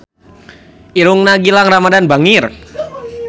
Irungna Gilang Ramadan bangir